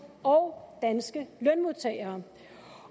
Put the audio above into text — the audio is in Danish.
og danske lønmodtagere